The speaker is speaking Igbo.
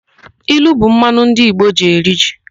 Ilu bụ mmanụ ndị Igbo ji eri nri.